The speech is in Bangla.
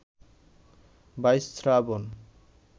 ২২ শ্রাবণ